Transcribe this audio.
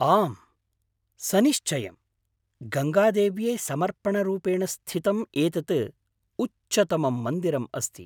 आम्, सनिश्चयम्। गङ्गादेव्यै समर्पणरूपेण स्थितम् एतद् उच्चतमं मन्दिरम् अस्ति।